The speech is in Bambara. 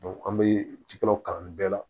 an bɛ ji kɛlaw kalanni bɛɛ la